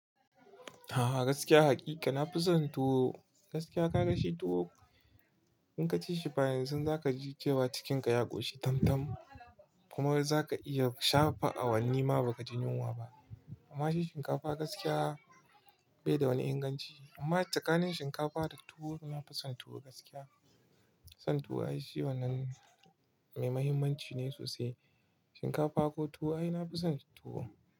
A'a gaskiya hakika nafi son tuwo. Gaskiya ka ga shi tuwo in ka ci shi fa yanzu za ka ji cewa cikinka ya ƙoshi tam-tam. Kuma za ka iya shafa awanni ma ba ka ji yunwa ba. Amma shi shinkafa gaskiya bai da wani inganci. Amma tsakanin shinkafa da tuwo nafi son tuwo gaskiya. Son tuwo ai shi wannan mai mahimmanci ne sosai. Shinkafa ko tuwo ai nafison tuwo.